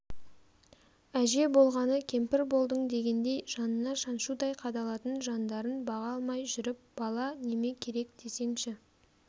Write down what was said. әже болғаны кемпір болдың дегендей жанына шаншудай қадалатын жандарын баға алмай жүріп бала неме керек десеңші